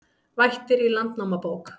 Vættir í Landnámabók